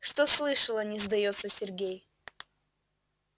что слышала не сдаётся сергей